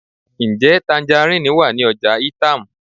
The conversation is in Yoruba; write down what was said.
Njẹ tangerine wa ni ọja Itam?